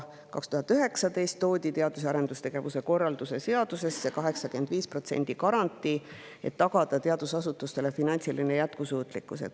2019. aastal toodi teadus‑ ja arendustegevuse korralduse seadusesse 85% garantii, et tagada teadusasutuste finantsiline jätkusuutlikkus.